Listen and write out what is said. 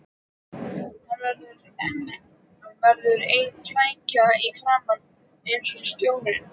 Hann verður ein flækja í framan, eins og stjórn